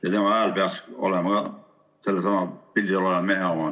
Ja tema hääl peaks olema ka sellesama pildil oleva mehe oma.